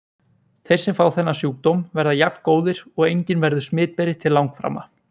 Þeir sem fá þennan sjúkdóm verða jafngóðir og enginn verður smitberi til langframa.